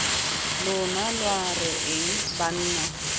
lona lwa re eng banna